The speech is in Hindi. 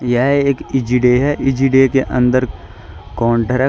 यह एक ईजी डे है ईजी डे के अंदर काउंटर है।